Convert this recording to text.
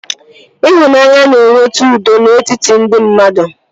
Ịhụnanya na-eweta udo n'etiti ndị mmadụ